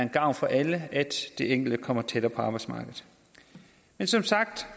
gavn for alle at den enkelte kommer tættere på arbejdsmarkedet men som sagt